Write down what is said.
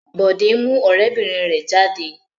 Bọ̀dé mú ọ̀rẹ́bìnrin rẹ̀ jáde.